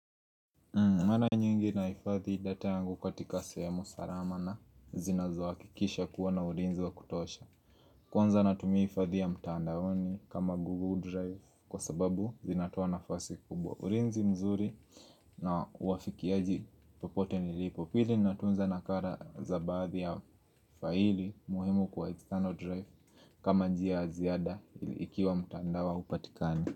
Mwara nyingi nahifadhi data uangu katika semu salama na zinazo hakikisha kuwa na ulinzi wa kutosha Kwanza natumia hifadhi ya mtandaoni kama Google Drive kwa sababu zinatoa nafasi kubwa ulinzi mzuri na uafikiaji popote nilipo Pili natunza nakara za badhi ya faili muhimu kwa external drive kama njia ya ziada ikiwa mtandao ha upatikani.